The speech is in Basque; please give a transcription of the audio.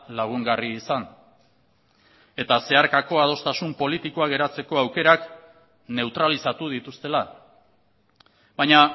lagungarri izan eta zeharkako adostasun politikoak eratzeko aukerak neutralizatu dituztela baina